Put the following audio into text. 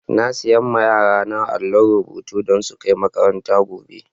Na siya ma yara na àllon rubutu don su kai makaranta gobe.